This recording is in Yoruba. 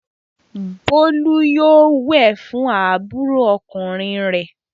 Bólú yóò wẹ̀ fún àbúrò ọkùnrin rẹ̀!